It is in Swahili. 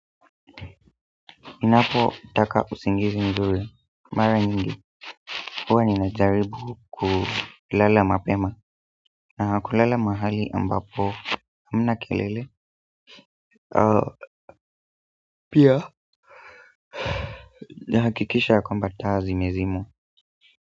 Ninapotaka usingizi mzuri mara nyingi huwa ninajaribu kulala mapema na kulala mahali ambapo hamna kelele pia nahakikisha kwamba taa zimezimwa.